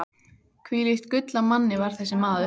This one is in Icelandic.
Hvílíkt gull af manni var þessi maður!